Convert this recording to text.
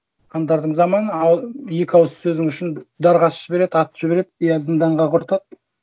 қаңтардың заманы екі ауыз сөзің үшін дарға асып жібереді атып жібереді я зынданға құртады